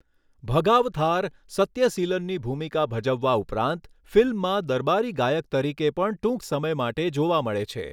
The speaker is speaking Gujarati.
ભગાવથાર, સત્યસીલનની ભૂમિકા ભજવવા ઉપરાંત, ફિલ્મમાં દરબારી ગાયક તરીકે પણ ટૂંક સમય માટે જોવા મળે છે.